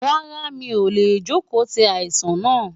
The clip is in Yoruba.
Rárá mi ò lè jókòó ti aláìsàn náà.